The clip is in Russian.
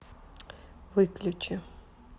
выключи